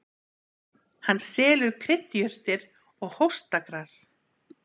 Hann selur kryddjurtir og hóstagras.